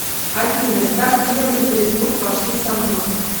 афина так делаем перекур пошли со мной